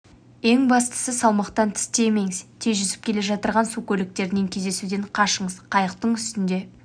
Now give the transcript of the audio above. ең бастысы салмақтан тыс тиемеңіз тез жүзіп келе жатырған су көліктерімен кездесуден қашығыз қыйықтың үстінде